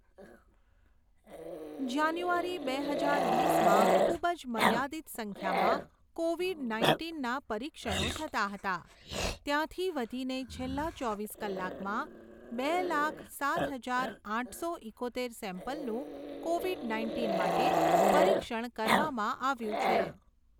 જાન્યુઆરી બે હજાર વીસમાં ખૂૂબ જ મર્યાદિત સંખ્યામાં કોવિડ નાઇન્ટીનના પરીક્ષણો થતા હતા, ત્યાંથી વધીને છેલ્લા ચોવીસ કલાકમાં બે લાખ સાત હજાર આઠસો ઈકોતેર સેમ્પલનું કોવિડ નાઇન્ટીન માટે પરીક્ષણ કરવામાં આવ્યું છે.